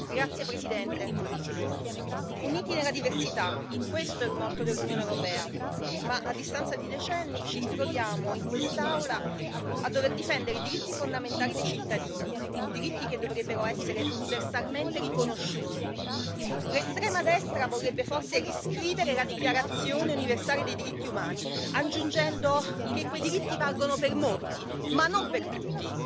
Signora Presidente, onorevoli colleghi, uniti nella diversità, questo è il motto dell'Unione europea ma, a distanza di decenni, ci troviamo in quest'Aula a dover difendere i diritti fondamentali dei cittadini, diritti che dovrebbero essere universalmente riconosciuti. L'estrema destra vorrebbe forse riscrivere la Dichiarazione universale dei diritti umani, aggiungendo che quei diritti valgono per molti, ma non per tutti.